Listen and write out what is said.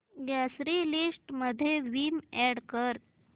grocery list मध्ये Vim add कर